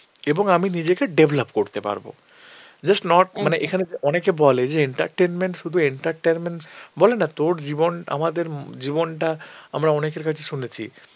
এবং আমি নিজেকে develop করতে পারব. just not মানে এখানে যা~ অনেকে বলে যে entertainment শুধু entertainment বলেনা তোর জীবন আমাদের উম জীবনটা আমরা অনেকের কাছে শুনেছি